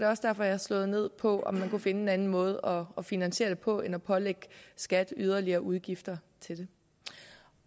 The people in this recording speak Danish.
også derfor jeg har slået ned på om man kunne finde en anden måde at finansiere det på end at pålægge skat yderligere udgifter til det